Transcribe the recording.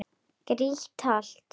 Grýtt holt.